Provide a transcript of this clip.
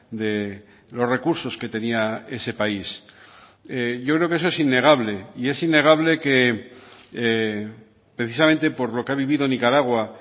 de los recursos que tenía ese país yo creo que eso es innegable y es innegable que precisamente por lo que ha vivido nicaragua